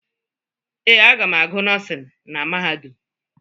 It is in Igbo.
Ee, aga m agụ nọọsịn na mahadum.